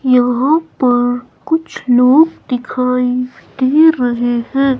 यहां पर कुछ लोग दिखाई दे रहे हैं।